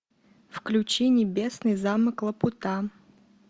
включи небесный замок лапута